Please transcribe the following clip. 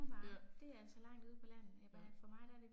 Ja. Ja